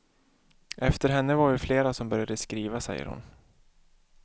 Efter henne var vi flera som började skriva, säger hon.